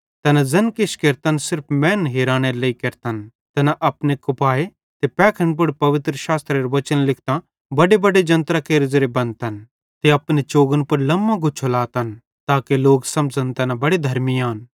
तैना ज़ैन किछ केरतन सिर्फ मैनन् हिरानेरे लेइ केरतन तैना अपने कुपाए ते पैखड़न पुड़ पवित्रशास्त्रेरे वचन लिखतां बड्डेबड्डे जन्त्रां केरे ज़ेरे बन्धतन ते अपने चोगन पुड़ लम्मो गुच्छा लातन ताके लोक समझ़न तैना बड़े धर्मी आन